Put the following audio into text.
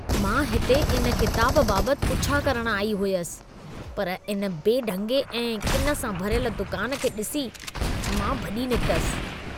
मां हिते इन किताबु बाबति पुछा करणु आई हुयसि, पर इन बेढंगे ऐं किन सां भरियल दुकान खे ॾिसी मां भॼी निकितसि।